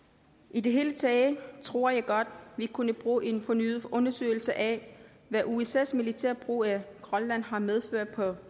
i det hele taget tror jeg godt at vi kunne bruge en fornyet undersøgelse af hvad usas militære brug af grønland har medført på